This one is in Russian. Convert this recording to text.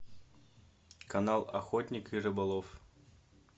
канал охотник и рыболов